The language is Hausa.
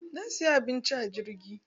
Na siya abinci a jirgi.